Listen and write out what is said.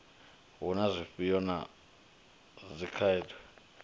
hu na zwivhuya na dzikhaedu